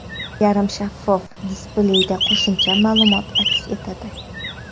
Yarim shaffof displeyda qo‘shimcha ma’lumot aks etadi.